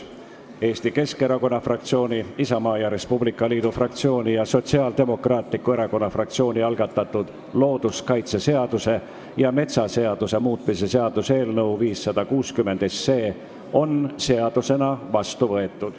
Eesti Keskerakonna fraktsiooni, Isamaa ja Res Publica Liidu fraktsiooni ning Sotsiaaldemokraatliku Erakonna fraktsiooni algatatud looduskaitseseaduse ja metsaseaduse muutmise seaduse eelnõu 560 on seadusena vastu võetud.